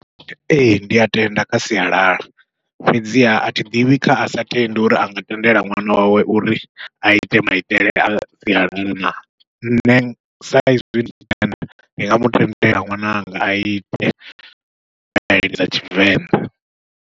Ee ndi a tenda kha sialala, fhedziha athi ḓivhi kha asa tendi uri anga tendela ṅwana wawe uri aite maitele a sialala na, nṋe sa izwi ndi nga mutendele ṅwananga aite thai dza tshivenḓa.